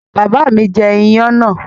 Bàbá mi jẹ iyán náà?